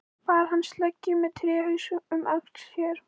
Bar hann sleggju með tréhaus um öxl sér.